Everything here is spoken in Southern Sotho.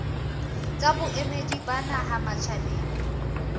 tsa boemedi ba naha matjhabeng